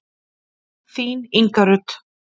Þín, Inga Rut.